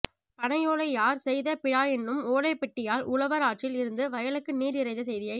பனையோலை யாற் செய்த பிழாஎன்னும் ஓலைப் பெட்டியால் உழவர் ஆற்றில் இருந்து வயலுக்கு நீர்இறைத்த செய்தியை